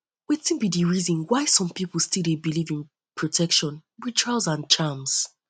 wetin um be di reason why um some um people still dey believe in protection rituals and charms